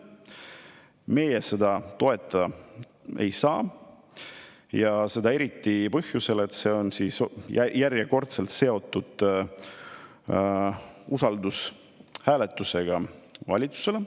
Meie seda toetada ei saa, seda eriti põhjusel, et see on järjekordselt seotud usaldushääletusega valitsusele.